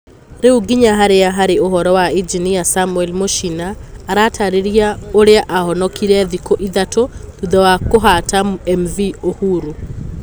Ruga nginya harĩa harĩ uhoro wa injinia samuel mũchina Arataarĩria ũrĩa aahonokire thikũ ithatũ thutha wa kũhata MV Uhuru?